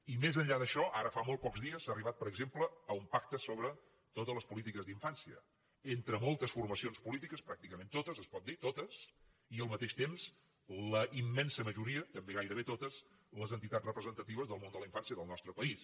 i més enllà d’això ara fa molts pocs dies s’ha arribat per exemple a un pacte sobre totes les polítiques d’infància entre moltes formacions polítiques pràcticament totes es pot dir totes i al mateix temps la immensa majoria també gairebé totes les entitats representatives del món de la infància del nostre país